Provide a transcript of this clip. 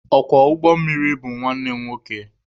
Ọkwọ ụgbọ mmiri bụ nwanne m nwoke.